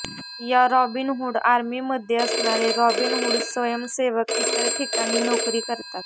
या Robin Hood army मध्ये असणारे रॉबिनहूड स्वयंसेवक इतर ठिकाणी नोकरी करतात